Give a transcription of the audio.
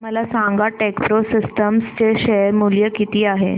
मला सांगा TechPro systems चे शेअर मूल्य किती आहे